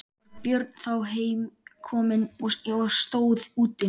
Var Björn þá heim kominn og stóð úti.